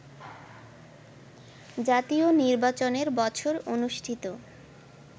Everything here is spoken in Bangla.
জাতীয় নির্বাচনের বছর অনুষ্ঠিত